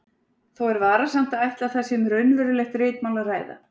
Þó er varasamt að ætla að þar sé um raunverulegt ritmál að ræða.